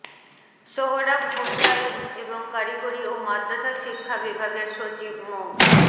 সোহরাব হোসাইন এবং কারিগরি ও মাদ্রাসা শিক্ষা বিভাগের সচিব মো